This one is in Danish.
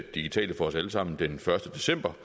digitale for os alle sammen den første december